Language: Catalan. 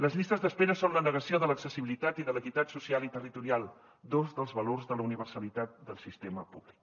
les llistes d’espera són la negació de l’accessibilitat i de l’equitat social i territorial dos dels valors de la universalitat del sistema públic